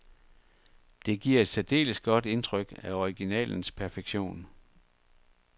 Det giver et særdeles godt indtryk af originalens perfektion.